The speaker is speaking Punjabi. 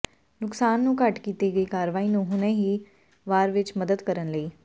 ਨੁਕਸਾਨ ਨੂੰ ਘੱਟ ਕੀਤੀ ਗਈ ਕਾਰਵਾਈ ਨੂੰ ਹੁਣੇ ਹੀ ਵਾਰ ਵਿੱਚ ਮਦਦ ਕਰਨ ਲਈ